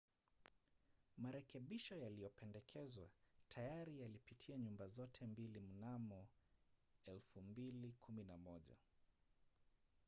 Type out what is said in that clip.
marekebisho yaliyopendekezwa tayari yalipitia nyumba zote mbili mnamo 2011